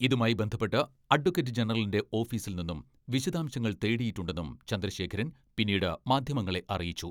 ഇതുമായി ബന്ധപ്പെട്ട് അഡ്വക്കറ്റ് ജനറലിന്റെ ഓഫീസിൽ നിന്നും വിശദാംശങ്ങൾ തേടിയിട്ടുണ്ടെന്നും ചന്ദ്രശേഖരൻ പിന്നീട് മാധ്യമങ്ങളെ അറിയിച്ചു.